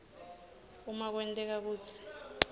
uma kwenteka kutsi